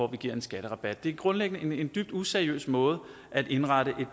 man giver en skatterabat det er grundlæggende en dybt useriøs måde at indrette et